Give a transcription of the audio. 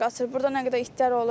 Burda nə qədər itlər olur.